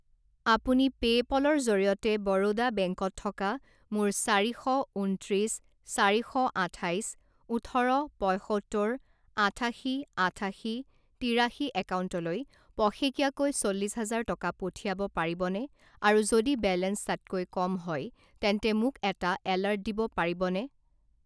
আপুনি পে'পলৰ জৰিয়তে বৰোদা বেংকত থকা মোৰ চাৰি শ উনত্ৰিশ চাৰি শ আঠাইচ ওঠৰ পঁইসত্তৰ আঠাশী আঠাশী তিৰাশী একাউণ্টলৈ পষেকীয়াকৈ চল্লিশ হাজাৰ টকা পঠিয়াব পাৰিবনে আৰু যদি বেলেঞ্চ তাতকৈ কম হয় তেন্তে মোক এটা এলাৰ্ট দিব পাৰিবনে?